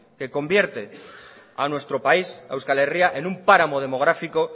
que convierte a nuestro país a euskal herria en un páramo demográfico